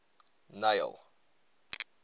neil